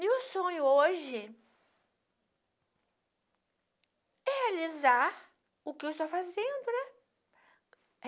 Meu sonho hoje é realizar o que eu estou fazendo, né?